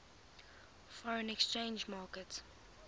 foreign exchange market